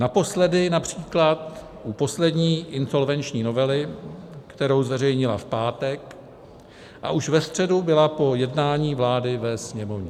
Naposledy například u poslední insolvenční novely, kterou zveřejnila v pátek, a už ve středu byla po jednání vlády ve Sněmovně.